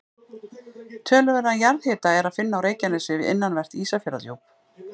Töluverðan jarðhita er að finna á Reykjanesi við innanvert Ísafjarðardjúp.